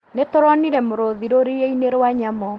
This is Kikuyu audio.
Nĩtũronire mũrũthi rũriĩ-inĩ rwa nyamũ